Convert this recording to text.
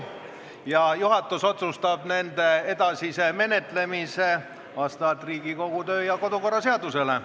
Juhatus otsustab nende edasise menetlemise vastavalt Riigikogu kodu- ja töökorra seadusele.